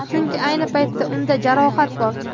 Chunki ayni paytda unda jarohat bor.